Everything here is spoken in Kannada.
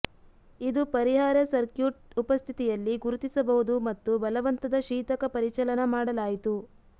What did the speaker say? ಇದು ಪರಿಹಾರ ಸರ್ಕ್ಯೂಟ್ ಉಪಸ್ಥಿತಿಯಲ್ಲಿ ಗುರುತಿಸಬಹುದು ಮತ್ತು ಬಲವಂತದ ಶೀತಕ ಪರಿಚಲನಾ ಮಾಡಲಾಯಿತು